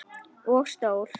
Og stór.